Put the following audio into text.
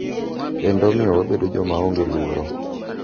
Kendo omiyo wabedo joma onge luoro.